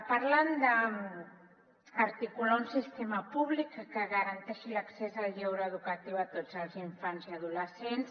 parlen d’articular un sistema públic que garanteixi l’accés al lleure educatiu a tots els infants i adolescents